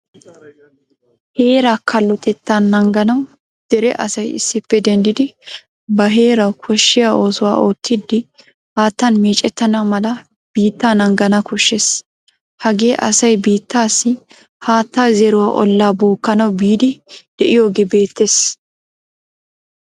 Heeraa kallotetta naaganawu dere asay issippe denddidi ba heerawu koshshiyaa oosuwaa ottidi haattaan meeccetena mala biitta naagana koshshees. Hagee asaay biittassi haataa zeeruwaa olla bookkanawu biidi deiyogo beetees.